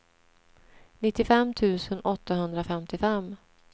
nittiofem tusen åttahundrafemtiofem